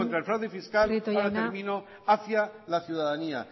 el fraude fiscal hacia la ciudadanía